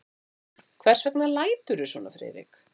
Hvers vegna læturðu svona, Friðrik?